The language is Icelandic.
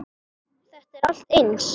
Þetta er allt eins.